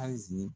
Azi